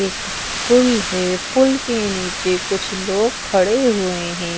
एक पुल है पुल के नीचे कुछ लोग खड़े हुए है।